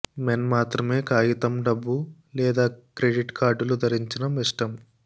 men మాత్రమే కాగితం డబ్బు లేదా క్రెడిట్ కార్డులు ధరించడం ఇష్టం